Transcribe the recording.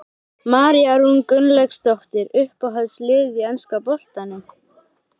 María Rún Gunnlaugsdóttir Uppáhalds lið í enska boltanum?